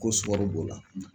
Ko b'o la